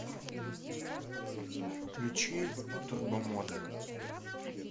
включи турбомода